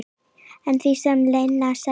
Að því sem Lena sagði.